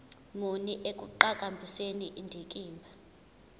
muni ekuqhakambiseni indikimba